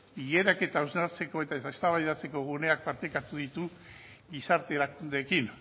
eta hausnartzeko eta eztabaidatzeko guneak partekatu ditu gizartearekin